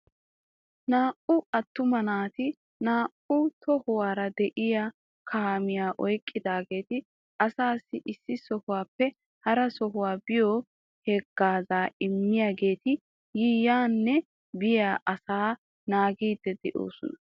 Naa"u attuma naati naa"u tohuwaara de'iyaa kaamiyaa oyqqidaageeti asassi issi sohuwappe hara sohuwaa biyo hagaaza immiyageeti yiyaanne biyaa asaa naagidi de'oosona.